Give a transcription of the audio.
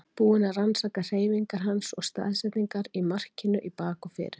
Búinn að rannsaka hreyfingar hans og staðsetningar í markinu í bak og fyrir.